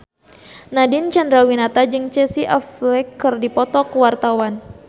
Nadine Chandrawinata jeung Casey Affleck keur dipoto ku wartawan